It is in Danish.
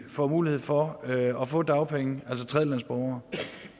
får mulighed for at få dagpenge